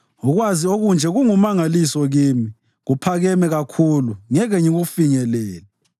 Ukwazi okunje kungumangaliso kimi, kuphakeme kakhulu ngeke ngikufinyelele.